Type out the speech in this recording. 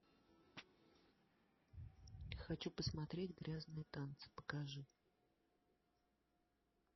хочу посмотреть грязные танцы покажи